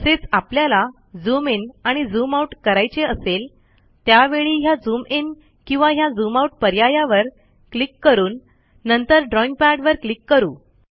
तसेच आपल्याला zoom in आणि झूम आउट करायचे असेल त्यावेळी ह्या झूम इन किंवा ह्या झूम आउट पर्यायावर क्लिक करून नंतर ड्रॉईंग पॅडवर क्लिक करू